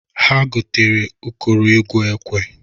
Ha gotara ụkọrọ egwu ekwe.